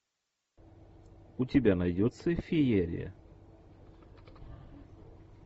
у тебя найдется феерия